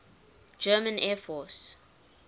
german air force